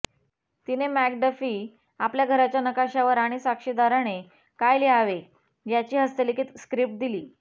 तिने मॅकडफी आपल्या घराच्या नकाशावर आणि साक्षीदाराने काय लिहावे याची हस्तलिखित स्क्रिप्ट दिली